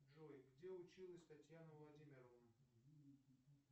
джой где училась татьяна владимировна